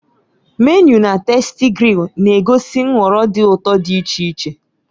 Menịu na "TastyGrill" na-egosi nhọrọ dị ụtọ dị iche iche.